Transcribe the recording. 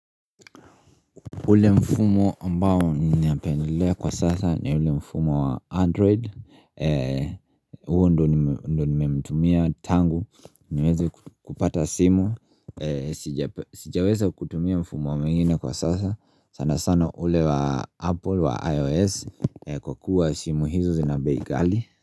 Ule mfumo ambao ninapendelea kwa sasa ni ule mfumo wa android Huovndo nimemtumia tangu niwezi kupata simu sijaweza kutumia mfumo mwingine kwa sasa sana sana ule wa apple wa ios kwa kuwa simu hizi zina bei ghali.